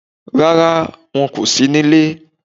Rárá, won kò sí ní ile